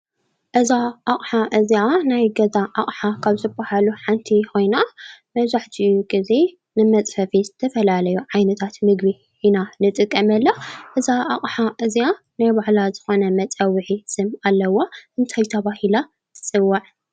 እዛ ኣቅሓ እዚኣ ናይ ገዛ ኣቅሓ ካብ ዝባሃሉ ሓንቲ ኮይና መብዛሕቲኡ ግዜ ንመፅፈፊ ዝተፈላለዩ ምግቢ ኢና ንጥቀመላ። እዛ ኣቅሓ እዚኣ ናይ ባዕላ ዝኮነ መፀውዒ ስም ኣለዋ። እንታይ ተባሂላ ትፅዋዕ?